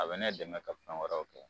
A be ne dɛmɛ ka fɛn wɛrɛw kɛ